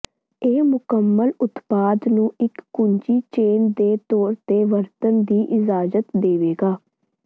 ਇਹ ਮੁਕੰਮਲ ਉਤਪਾਦ ਨੂੰ ਇੱਕ ਕੁੰਜੀ ਚੇਨ ਦੇ ਤੌਰ ਤੇ ਵਰਤਣ ਦੀ ਇਜਾਜ਼ਤ ਦੇਵੇਗਾ